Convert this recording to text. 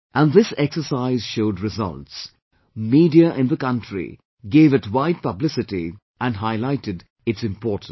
And, this exercise showed results, media in the country gave it wide publicity and highlighted its importance